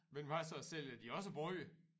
Men hvad så sælger de også brød?